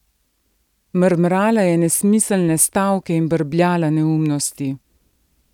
Mrmrala je nesmiselne stavke in brbljala neumnosti.